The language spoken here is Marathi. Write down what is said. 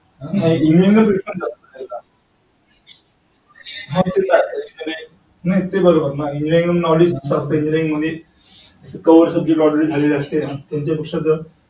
नाही. हा ते बरोबर आहे. engineering knowledge